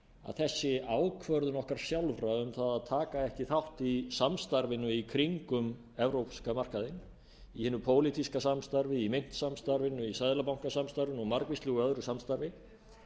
að þessi ákvörðun okkar sjálfra um að taka ekki þátt í samstarfinu í kringum evrópska markaðinn í hinu pólitíska samstarfi í myntsamstarfinu í seðlabankasamstarfinu og margvíslegu öðru samstarfi